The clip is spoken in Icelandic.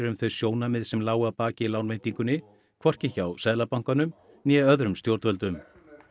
um þau sjónarmið sem lágu að baki lánveitingunni hvorki hjá Seðlabanka né öðrum stjórnvöldum